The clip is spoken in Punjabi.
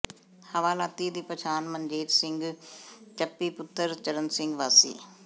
ਹਵਾਲਾਤੀ ਦੀ ਪਛਾਣ ਮਨਜੀਤ ਸਿੰਘ ਚੱਪੀ ਪੁੱਤਰ ਚਰਣ ਸਿੰਘ ਵਾਸੀ